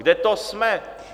Kde to jsme?